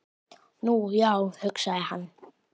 Nú, já, hugsaði hann.